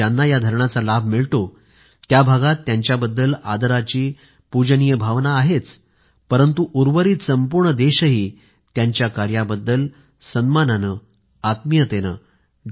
ज्यांना या धरणाचा लाभ मिळतो त्या भागात त्यांच्याबद्दल आदराची पूजनीय भावना आहेच परंतु उर्वरित संपूर्ण देशही त्यांच्या कार्याबद्दल सन्मानाने आत्मीयतेने डॉ